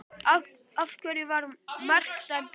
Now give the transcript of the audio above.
Af hverju var þetta mark dæmt af?